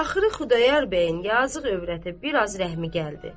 Axırı Xudayar bəyin yazıq övrətə biraz rəhmi gəldi.